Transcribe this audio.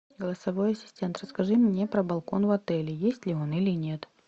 голосовой ассистент расскажи мне про балкон в отеле есть ли он или нет